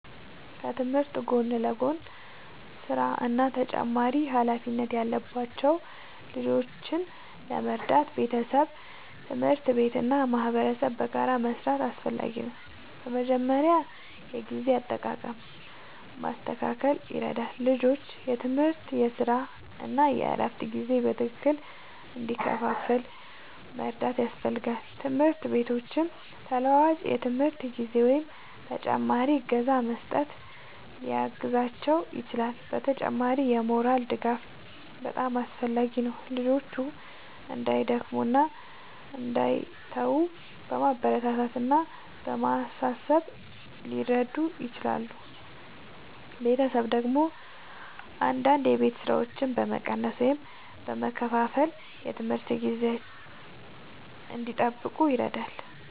ከትምህርት ጎን ለጎን ሥራ እና ተጨማሪ ኃላፊነት ያለባቸው ልጆችን ለመርዳት ቤተሰብ፣ ትምህርት ቤት እና ማህበረሰብ በጋራ መስራት አስፈላጊ ነው። በመጀመሪያ የጊዜ አጠቃቀም ማስተካከል ይረዳል፤ ልጆቹ የትምህርት፣ የሥራ እና የእረፍት ጊዜ በትክክል እንዲከፋፈል መርዳት ያስፈልጋል። ትምህርት ቤቶችም ተለዋዋጭ የትምህርት ጊዜ ወይም ተጨማሪ እገዛ በመስጠት ሊያግዟቸው ይችላሉ። በተጨማሪም የሞራል ድጋፍ በጣም አስፈላጊ ነው፤ ልጆቹ እንዳይደክሙ እና እንዳይተዉ በማበረታታት እና በማሳሰብ ሊረዱ ይችላሉ። ቤተሰብ ደግሞ አንዳንድ የቤት ሥራዎችን በመቀነስ ወይም በመከፋፈል የትምህርት ጊዜ እንዲጠብቁ ይረዳል።